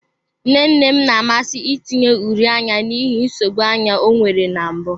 Nne nne m na-amasị itinye uri anya n'ihi nsogbu anya ọ nwere na mbụ.